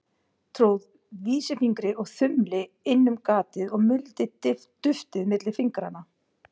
Tróð vísifingri og þumli inn um gatið og muldi duftið milli fingranna.